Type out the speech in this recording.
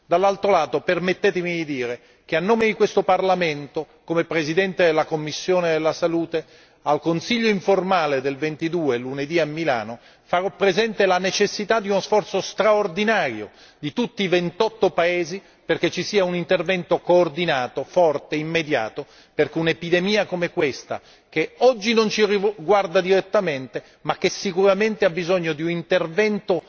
Dall'altro lato permettetemi di dire che a nome di questo Parlamento, come presidente della commissione per la salute, al Consiglio informale di lunedì 22 a Milano farò presente la necessità di uno sforzo straordinario di tutti i ventotto paesi perché ci sia un intervento coordinato, forte, immediato, perché un'epidemia come questa, anche se oggi non ci riguarda direttamente, ha sicuramente bisogno di un intervento